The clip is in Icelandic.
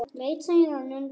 Leit síðan undan.